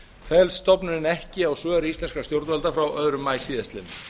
fellst stofnunin ekki á svör íslenskra stjórnvalda frá öðrum maí síðastliðinn